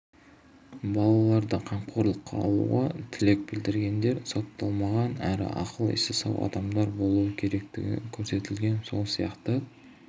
балаларды қамқорлыққа алуға тілек білдіргендер сотталмаған әрі ақыл-есі сау адамдар болуы керектігі көрсетілген сол сияқты